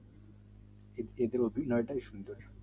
শিব চোধরীর অভিনয় তাই সুন্দর